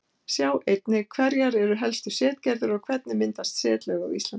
Sjá einnig: Hverjar eru helstu setgerðir og hvernig myndast setlög á Íslandi?